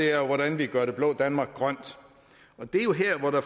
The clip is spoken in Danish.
er hvordan vi gør det blå danmark grønt og det er jo her hvor der